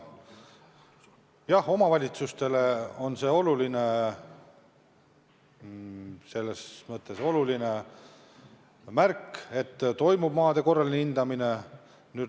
Jah, omavalitsustele on see selles mõttes oluline märk, et toimub maade korraline hindamine.